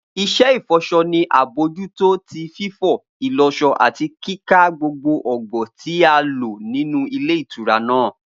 Iṣẹ ifọṣọ ni abojuto ti fifọ, ìlọṣọ ati kika gbogbo ọgbọ ti a lo ninu ìle ìtura naa.